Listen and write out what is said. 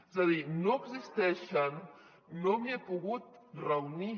és a dir no existeixen no m’hi he pogut reunir